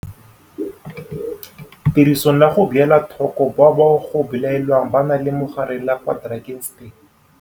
Tirisong la go beela thoko bao go belaelwang ba na le mogare la kwa Drakenstein.